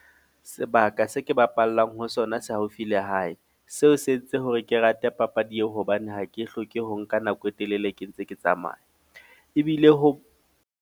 Sebaka se ke bapallang ho sona, se haufi le hae. Seo se entse hore ke rate papadi eo, hobane ha ke hloke ho nka nako e telele ke ntse ke tsamaya. Ebile ho.